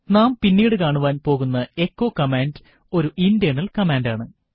നാം പിന്നീട് കാണുവാൻ പോകുന്ന എച്ചോ കമാൻഡ് ഒരു ഇന്റേർണൽ കമാൻഡ് ആണ്